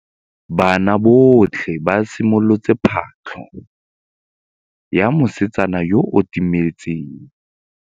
Banna botlhê ba simolotse patlô ya mosetsana yo o timetseng.